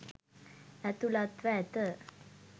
ඇතුලත්ව ඇත.